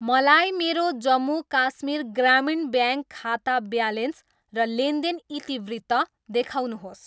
मलाई मेरो जम्मू काश्मीर ग्रामीण ब्याङ्क खाता ब्यालेन्स र लेनदेन इतिवृत्त देखाउनुहोस्।